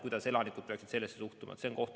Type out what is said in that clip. Kuidas elanikud peaksid sellesse suhtuma?